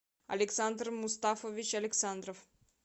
александр мустафович александров